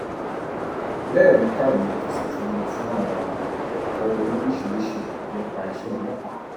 bẹẹ ló kàwé tó sì tún lọ fún àwọn ẹkọ lóríṣìíríṣìí nípa iṣẹ ọlọpàá